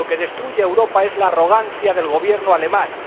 Lo que destruye a Europa es la arrogancia del Gobierno alemán.